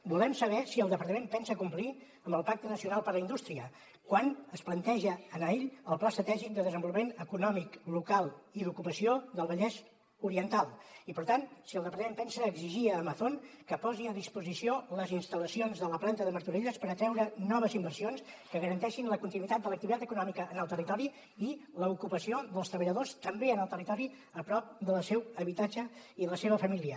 volem saber si el departament pensa complir amb el pacte nacional per a la indústria quan es planteja anar ell al pla estratègic de desenvolupament econòmic local i d’ocupació del vallès oriental i per tant si el departament pensa exigir a amazon que posi a disposició les instal·lacions de la planta de martorelles per atreure noves inversions que garanteixin la continuïtat de l’activitat econòmica en el territori i l’ocupació dels treballadors també en el territori a prop del seu habitatge i de la seva família